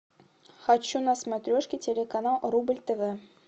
хочу на смотрешке телеканал рубль тв